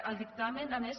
el dictamen a més